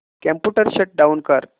computer shut down कर